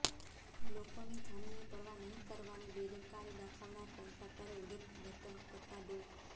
લોકોની જાનની પરવાહ નહીં કરવાની બેદરકારી દાખવનાર કોન્ટ્રાક્ટરે ઉદ્ધતવર્તન કરતાં ડો